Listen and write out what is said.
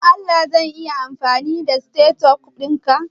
Don Allah zan iya amfani da stethoscope dinka?